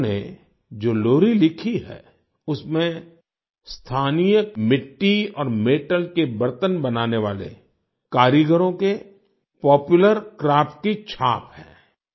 इन्होंने जो लोरी लिखी है उसमें स्थानीय मिट्टी और मेटल के बर्तन बनाने वाले कारीगरों के पॉपुलर क्राफ्ट की छाप है